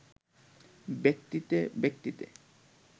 ব্যক্তিতে ব্যক্তিতে